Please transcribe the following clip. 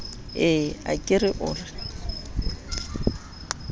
ee a ke o re